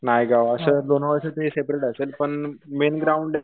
नायगाव पण सेपरेट असेल पण मेन ग्राउंड